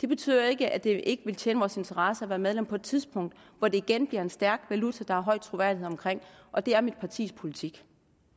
det betyder jo ikke at det ikke ville tjene vores interesser at være medlem på et tidspunkt hvor den igen bliver en stærk valuta som der er høj troværdighed om og det er mit partis politik